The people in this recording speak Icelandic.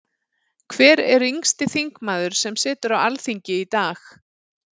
Hver er yngsti þingmaður sem situr á Alþingi í dag?